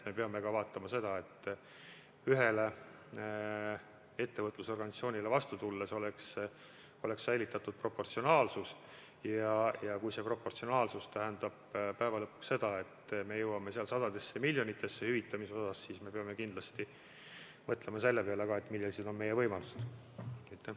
Me peame ka vaatama seda, et ühele ettevõtlusorganisatsioonile vastu tulles oleks säilitatud proportsionaalsus, ja kui see proportsionaalsus tähendab päeva lõpuks seda, et me jõuame hüvitamisega sadadesse miljonitesse, siis me peame kindlasti mõtlema selle peale, millised meie võimalused ikkagi on.